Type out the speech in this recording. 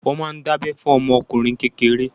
Wọ́n máa ń dábẹ́ fún ọmọ ọkùnrin kékeré.